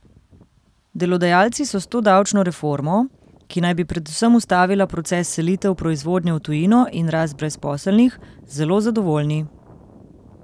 Delodajalci so s to davčno reformo, ki naj bi predvsem ustavila proces selitev proizvodnje v tujino in rast brezposelnih, zelo zadovoljni.